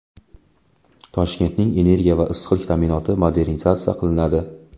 Toshkentning energiya va issiqlik ta’minoti modernizatsiya qilinadi.